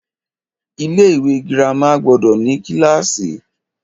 Ilé ìwé girama gbọdọ̀ ní kílàsì.